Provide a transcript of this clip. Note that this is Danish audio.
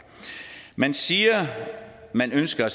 man siger man ønsker